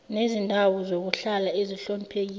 nezindawo zokuhlala ezihloniphekile